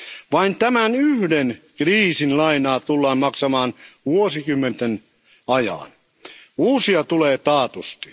Vain tämän yhden kriisin lainaa tullaan maksamaan vuosikymmenten ajan. Uusia tulee taatusti.